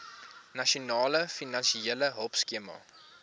nasionale finansiële hulpskema